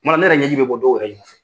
Kuma dɔ ne yɛrɛ ɲɛji bɛ bɔ dɔw yɛrɛ ye